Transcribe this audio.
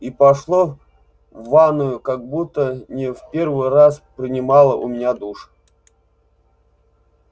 и пошла в ванную как будто не в первый раз принимала у меня душ